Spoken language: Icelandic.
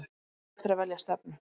En þá er eftir að velja stefnu.